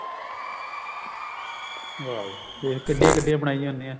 ਵਾਹ ਬੀ ਵਾਹ ਦੇਖ ਕਿੱਡੀਆਂ ਕਿੱਡੀਆਂ ਬਣਾਈਆਂ ਹੁੰਨੀਆਂ